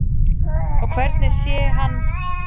Og hvernig sé hann þá fyrir sér framhaldið?